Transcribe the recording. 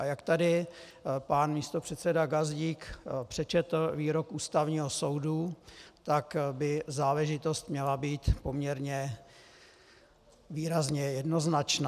A jak tady pan místopředseda Gazdík přečetl výrok Ústavního soudu, tak by záležitost měla být poměrně výrazně jednoznačná.